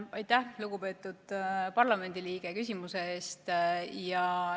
Aitäh, lugupeetud parlamendiliige, küsimuse eest!